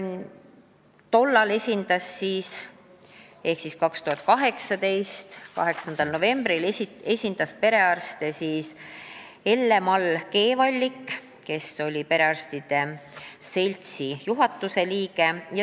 Tollal ehk 2018. aasta 8. novembril esindas perearste Elle-Mall Keevallik, kes oli perearstide seltsi juhatuse liige.